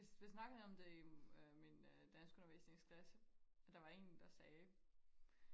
vi vi snakkede om det i øh min øh danskundervisningsklasse og der var en der sagde